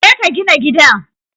Je ka gina gidan